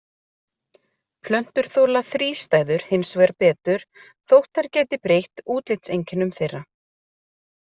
Plöntur þola þrístæður hins vegar betur þótt þær geti breytt útlitseinkennum þeirra.